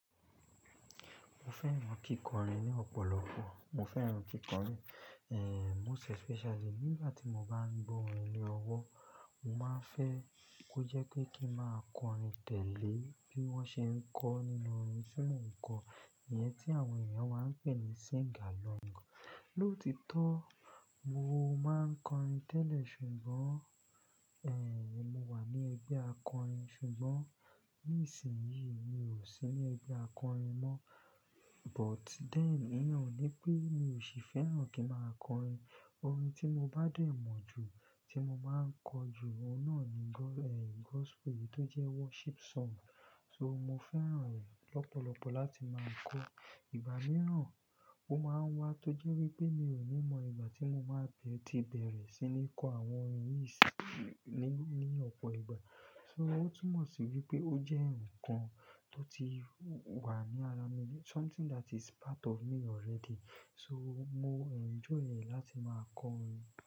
Mo fẹ́ràn kíkọrin ní ọ̀pọ̀lọpọ̀. Mo fẹ́ràn kíkọrin, eh, most especially nígbà tí mo bá ń gbọ́ orin ní ọwọ́, mo máa ń fẹ́ kó jẹ́ pé kí ń máa kọrin tẹ́lẹ̀ bí wọ́n ṣe ń kọ nínú orin tí mò ń kọ. Ìyẹn tí àwọn èèyàn máa ń pè ní sing along. Lóòtítọ́, mo máa ń kọrin tẹ́lẹ̀ ṣùgbọ́n, eh, mo wà ní ẹgbẹ́ akọrin ṣùgbọ́n ní ìsìnyí mi ò sí ní ẹgbẹ́ akọrin mọ́. But then, ìyẹn ó ni pé mi ò sì fẹ́ràn kí ń máa kọrin. Orin tí mo bá dẹ̀ mọ̀ jù tí mo máa ń kọ jù, ọ̀nà ni go-- eh, gospel tó jẹ́ worship song. So mo fẹ́ràn rẹ̀ lọ́pọ̀lọpọ̀ láti máa kọ. Ìgbà mìíràn ó máa ń wá tó jẹ́ wí pé mi ò ní mọ ìgbà tí mo máa bẹ̀ ti bẹ̀rẹ̀ sí ní kọ àwọn orin yìí sí í ní, ní ọ̀pọ̀ ìgbà. So ó túmọ̀ sí wí pé ó jẹ́ ǹkan tó ti wà ní ara mi. Something that is part of me already. So mo enjoy rẹ̀ láti máa kọ orin.